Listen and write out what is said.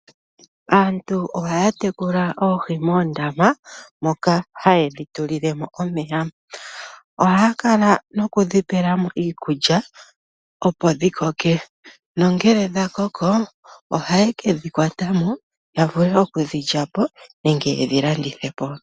Aantu ohaya tekula oohi moondama moka haye dhi tulilemo omeya. Ohaya kala nokudhi pela mo iikulya opo dhi koke nongele dha koko ohaye kedhi kwata moya vule oku dhi lyapo nenge ye kedhi landithe po.